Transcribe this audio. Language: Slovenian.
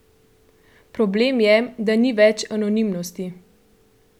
Problem je, da ni več anonimnosti!